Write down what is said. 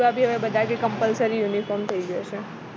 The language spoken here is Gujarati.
બધા કે compulsory uniform થઈ ગયો છે